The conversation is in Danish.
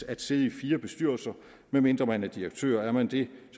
at sidde i fire bestyrelser medmindre man er direktør er man det